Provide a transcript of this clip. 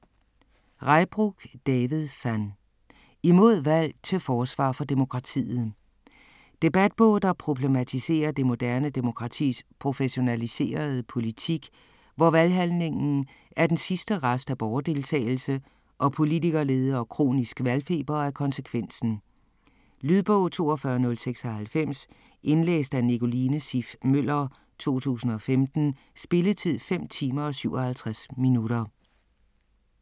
Reybrouck, David van: Imod valg: til forsvar for demokratiet Debatbog, der problematiserer det moderne demokratis professionaliserede politik, hvor valghandlingen er den sidste rest af borgerdeltagelse, og politikerlede og kronisk valgfeber er konsekvensen. Lydbog 42096 Indlæst af Nicoline Siff Møller, 2015. Spilletid: 5 timer, 57 minutter.